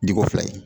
Diko fila ye